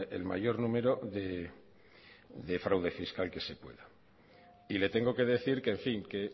el mayor número de fraude fiscal que se pueda y le tengo que decir que en fin que